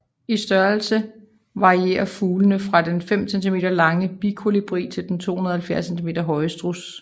I størrelse varierer fuglene fra den 5 centimeter lange bikolibri til den 270 centimeter høje struds